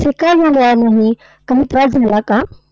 असे का झाले नाही? काही त्रास झाला का?